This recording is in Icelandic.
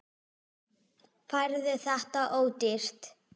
Færðu þetta ódýrt?